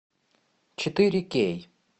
четыре кей